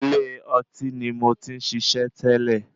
Ilé ọtí ní mo tí ń ṣiṣẹ́ tẹ́lẹ̀.